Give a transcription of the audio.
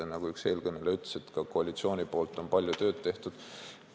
Nagu üks eelkõneleja ütles, on koalitsioon palju tööd teinud.